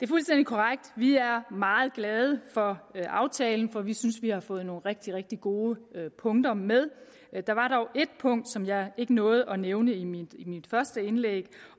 fuldstændig korrekt at vi er meget glade for aftalen for vi synes vi har fået nogle rigtig rigtig gode punkter med der var dog et punkt som jeg ikke nåede at nævne i mit i mit første indlæg